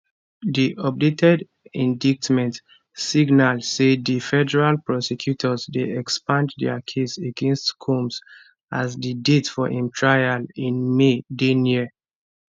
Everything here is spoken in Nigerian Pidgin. di updated indictment signal say di federal prosecutors dey expand dia case against combs as di date for im trial in may dey near